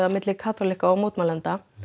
milli kaþólikka og mótmælenda